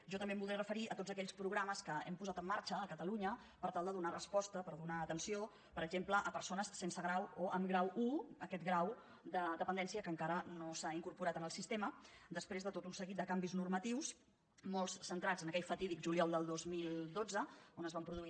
jo també em voldré referir a tots aquells programes que hem posat en marxa a catalunya per tal de donar resposta per donar atenció per exemple a persones sense grau o amb grau un aquest grau de dependència que encara no s’ha incorporat al sistema després de tot un seguit de canvis normatius molts centrats en aquell fatídic juliol del dos mil dotze on es van produir